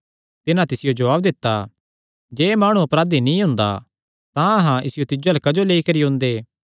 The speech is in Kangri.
तिन्हां तिसियो जवाब दित्ता जे एह़ माणु अपराधी नीं हुंदा तां अहां इसियो तिज्जो अल्ल क्जो लेई करी ओंदे